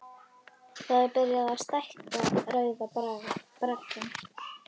Það er byrjað á því að stækka Rauða braggann.